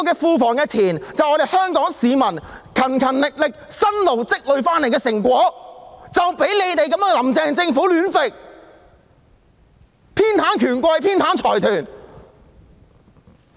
庫房的錢，是香港市民辛勤工作所積累的成果，卻被"林鄭"政府亂用、偏袒權貴及財團。